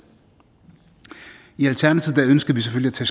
i alternativet ønsker vi selvfølgelig